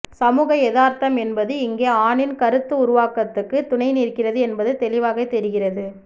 சமூக எதார்த்தம் என்பது இங்கே ஆணின் கருத்துருவாக்கத்துக்கு துணை நிற்கிறது என்பது தெளிவாக தெரிகிறது